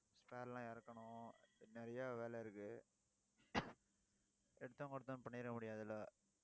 spare எல்லாம் இறக்கணும். நிறைய வேலை இருக்கு. எடுத்தோம் கவுத்தோம்னு பண்ணிர முடியாதுல்ல